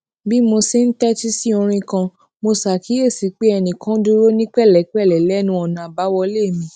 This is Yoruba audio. bí mo ṣe ń tétí sí orin kan mo ṣàkíyèsí pé ẹnì kan dúró ní pèlépèlé lénu ònà àbáwọlé mi